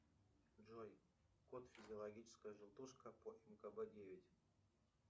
джой код физиологическая желтушка по мкб девять